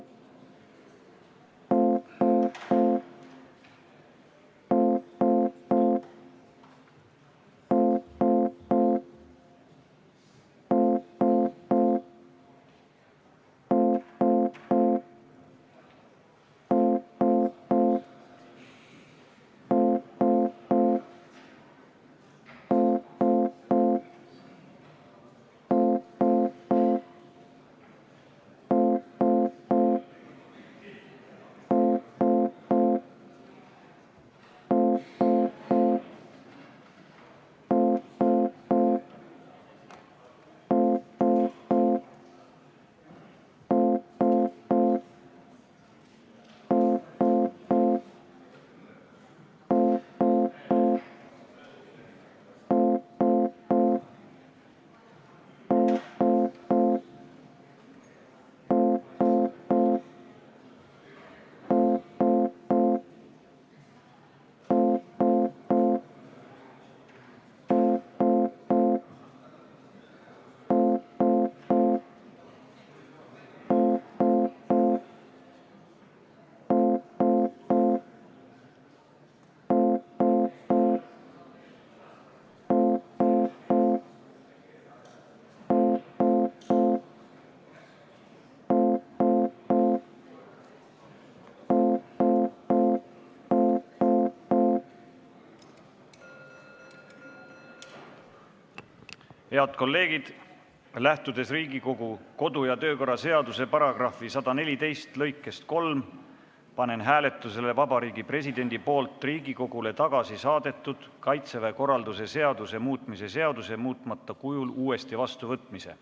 Head kolleegid, lähtudes Riigikogu kodu- ja töökorra seaduse § 114 lõikest 3, panen hääletusele Vabariigi Presidendi poolt Riigikogule tagasi saadetud Kaitseväe korralduse seaduse muutmise seaduse muutmata kujul uuesti vastuvõtmise.